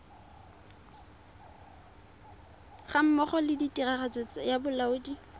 gammogo le tiragatso ya bolaodi